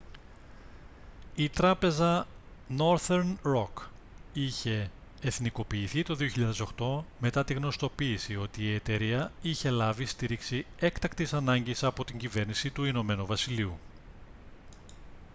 η τράπεζα northern rock είχε εθνικοποιηθεί το 2008 μετά την γνωστοποίηση ότι η εταιρεία είχε λάβει στήριξη έκτακτης ανάγκης από την κυβέρνηση του ην βασιλείου